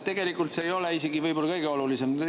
Tegelikult see ei ole isegi võib-olla kõige olulisem.